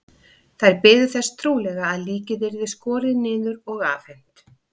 Þær biðu þess trúlega að líkið yrði skorið niður og afhent.